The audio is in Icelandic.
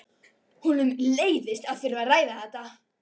Honum leiðist að þurfa að ræða þetta.